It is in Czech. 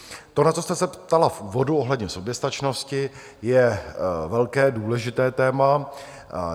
To, na co jste se ptala v úvodu ohledně soběstačnosti, je velké, důležité téma.